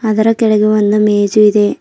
ಅದರ ಕೆಳಗೆ ಒಂದು ಮೇಜು ಇದೆ.